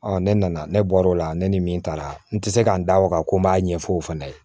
ne nana ne bɔr'o la ne ni min taara n tɛ se ka n da o kan ko n b'a ɲɛfɔ o fana ye